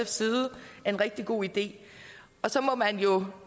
side er en rigtig god idé og så må man jo